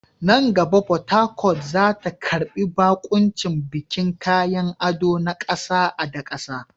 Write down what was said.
Nan gaba, Port Harcourt za ta karbi baƙuncin bikin kayan ado na ƙasa da ƙasa.